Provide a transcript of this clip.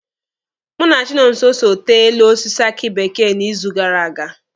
Mụ na Chinonso so tee elu osisi aki bekee n'izu gara aga